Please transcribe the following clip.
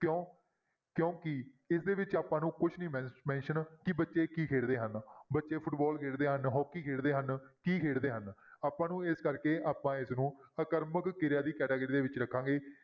ਕਿਉਂ ਕਿਉਂਕਿ ਇਸਦੇ ਵਿੱਚ ਆਪਾਂ ਨੂੰ ਕੁਛ ਨੀ ਮੈਨ~ mention ਕਿ ਬੱਚੇ ਕੀ ਖੇਡਦੇ ਹਨ ਬੱਚੇ ਫੁਟਬਾਲ ਖੇਡਦੇ ਹਨ, ਹਾਕੀ ਖੇਡਦੇ ਹਨ, ਕੀ ਖੇਡਦੇ ਹਨ ਆਪਾਂ ਨੂੰ ਇਸ ਕਰਕੇ ਆਪਾਂ ਇਸਨੂੰ ਆਕਰਮਕ ਕਿਰਿਆ ਦੀ category ਦੇ ਵਿੱਚ ਰੱਖਾਂਗੇ।